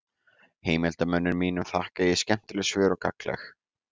Heimildarmönnum mínum þakka ég skemmtileg svör og gagnleg.